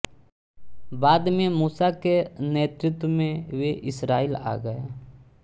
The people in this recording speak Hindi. बाद में मूसा के नेतृत्व में वे इसरायल आ गए